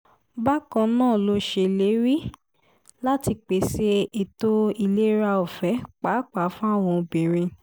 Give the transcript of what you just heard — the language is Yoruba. bákan náà ló ṣèlérí láti pèsè ètò ìlera ọ̀fẹ́ pàápàá fáwọn obìnrin